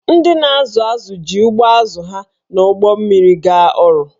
Ndị na-azụ azụ̀ ji ụgbụ azụ̀ ha na ụgbọ mmiri gaa ọrụ